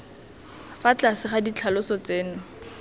fa tlase ga ditlhaloso tseno